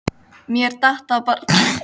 Mér datt það bara í hug.